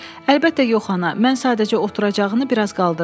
Əlbəttə yox ana, mən sadəcə oturacağını biraz qaldırdım.